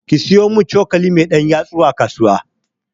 ki siyu mun cokali mai ɗan yatsu a kasuwa